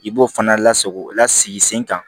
I b'o fana lasago lasigi sen kan